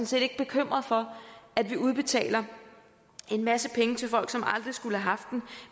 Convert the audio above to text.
set ikke bekymret for at vi udbetaler en masse penge til folk som aldrig skulle have haft dem